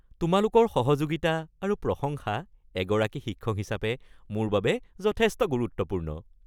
তোমালোকৰ সহযোগিতা আৰু প্ৰশংসা এগৰাকী শিক্ষক হিচাপে মোৰ বাবে যথেষ্ট গুৰুত্বপূৰ্ণ।